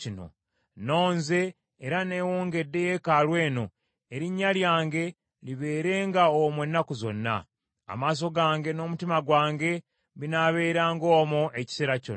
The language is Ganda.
Nnonze era neewongedde yeekaalu eno, Erinnya lyange libeerenga omwo ennaku zonna. Amaaso gange n’omutima gwange binaabeeranga omwo ekiseera kyonna.